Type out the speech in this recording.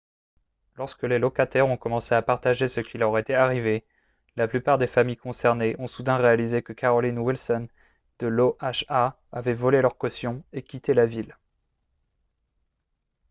lorsque les locataires ont commencé à partager ce qui leur était arrivé la plupart des familles concernées ont soudain réalisé que carolyn wilson de l'oha avait volé leurs cautions et quitté la ville